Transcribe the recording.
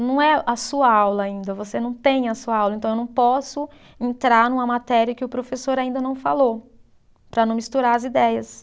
Não é a sua aula ainda, você não tem a sua aula, então eu não posso entrar numa matéria que o professor ainda não falou, para não misturar as ideias.